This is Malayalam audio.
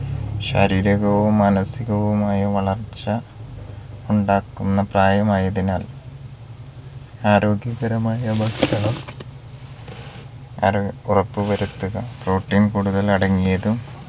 ശാരീരികവും മാനസികവുമായ വളർച്ച ഉണ്ടാക്കുന്ന പ്രായമായതിനാൽ ആരോഗ്യപരമായ ഭക്ഷണം ആരോഗ് ഉറപ്പുവരുത്തുക protein കൂടുതൽ അടങ്ങിയതും